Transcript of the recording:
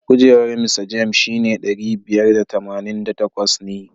Kujerar Mista James shine ɗari biyar da tamanin da takwas ne.